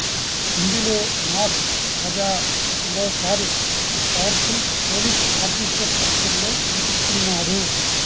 ఇందులో మాస్ రాజా మరోసారి powerful police officer పాత్రలో నటిస్తున్నాడు